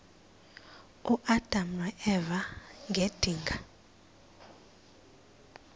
uadam noeva ngedinga